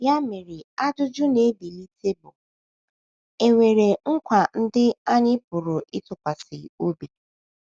Ya mere ajụjụ na - ebilite bụ: È nwere nkwa ndị anyị pụrụ ịtụkwasị obi?